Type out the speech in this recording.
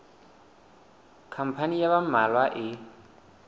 khampani ya ba mmalwa e